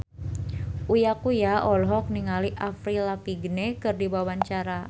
Uya Kuya olohok ningali Avril Lavigne keur diwawancara